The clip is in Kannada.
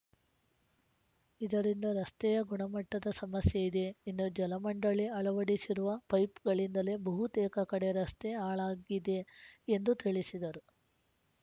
ಇದರಿಂದ ರಸ್ತೆಯ ಗುಣಮಟ್ಟದ ಸಮಸ್ಯೆ ಇದೆ ಇನ್ನು ಜಲಮಂಡಳಿ ಅಳವಡಿಸಿರುವ ಪೈಪ್‌ಗಳಿಂದಲೇ ಬಹುತೇಕ ಕಡೆ ರಸ್ತೆ ಹಾಳಾಗಿದೆ ಎಂದು ತಿಳಿಸಿದರು